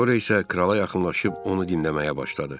Sonra isə krala yaxınlaşıb onu dinləməyə başladı.